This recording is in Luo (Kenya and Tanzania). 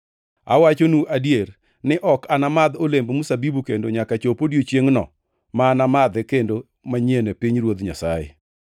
Awachonu adier ni ok anamadh olemb mzabibu kendo nyaka chop odiechiengʼno ma anamadhee kendo manyien e pinyruoth Nyasaye.”